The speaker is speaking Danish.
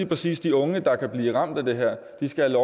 præcis de unge der kan blive ramt af det her skal